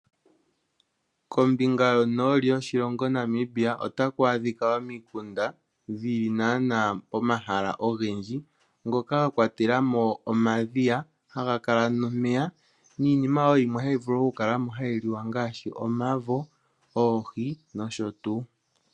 Kombinga yonooli yoshilongo Namibia ota ku adhika omikunda dhili naanaa pomahala ogendji ngoka ga kwatela mo omadhiya haga kala nomeya niinima wo yimwe hayi vulu okukala mo hayi liwa ngaashi omavo, oohi nosho tuu.